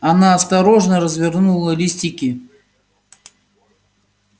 она осторожно развернула листики